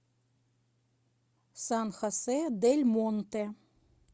сан хосе дель монте